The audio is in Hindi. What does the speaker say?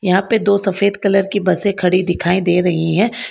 यहां पे दो सफेद कलर की बसें खड़ी दिखाई दे रही है।